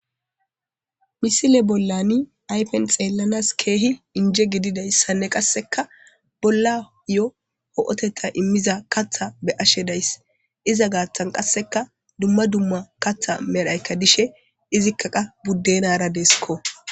Misile bollani aypen xeellanas keehi inje gididayssanne qasseka bolla yo ho'oteta immiza katha be ashe days iza gaaththan qasseka dumma dumma katha medhaykka dishe izikka qa buddenara deeskko.